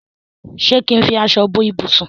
ṣe kín fí aṣọ bó ibusùn.